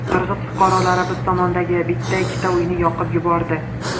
Qirg‘iz fuqarolari biz tomondagi bitta-ikkita uyni yoqib yubordi.